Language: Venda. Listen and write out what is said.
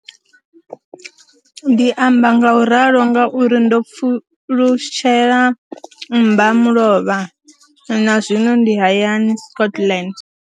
Ndi amba ngauralo nga uri ndo pfulutshela mmbamulovha na zwino ndi hayani, Scotland.